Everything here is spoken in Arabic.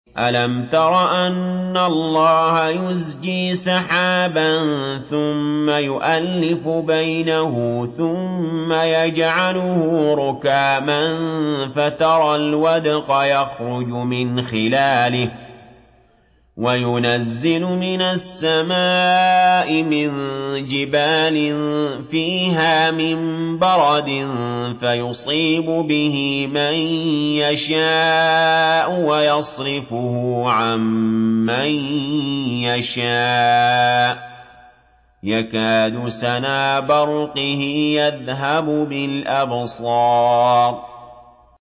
أَلَمْ تَرَ أَنَّ اللَّهَ يُزْجِي سَحَابًا ثُمَّ يُؤَلِّفُ بَيْنَهُ ثُمَّ يَجْعَلُهُ رُكَامًا فَتَرَى الْوَدْقَ يَخْرُجُ مِنْ خِلَالِهِ وَيُنَزِّلُ مِنَ السَّمَاءِ مِن جِبَالٍ فِيهَا مِن بَرَدٍ فَيُصِيبُ بِهِ مَن يَشَاءُ وَيَصْرِفُهُ عَن مَّن يَشَاءُ ۖ يَكَادُ سَنَا بَرْقِهِ يَذْهَبُ بِالْأَبْصَارِ